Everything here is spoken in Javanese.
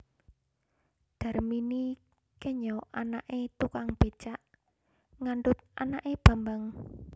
Darmini kenya anaké tukang bécak ngandhut anaké Bambang